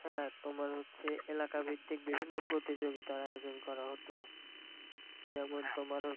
হ্যাঁ তোমার হচ্ছে এলাকা ভিত্তিক বিভিন্ন প্রতিযোগিতার এর আয়জন করা হত যেমন